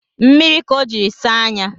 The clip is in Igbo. Mmiri ka o jiri saa anya